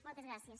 moltes gràcies